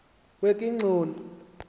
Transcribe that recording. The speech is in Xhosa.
wekigxoni